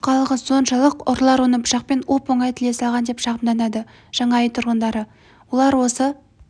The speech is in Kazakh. жұқалығы соншалық ұрылар оны пышақпен оп-оңай тіле салған деп шағымданады жаңа үй тұрғындары олар осы